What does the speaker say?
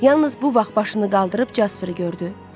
Yalnız bu vaxt başını qaldırıb Casperi gördü.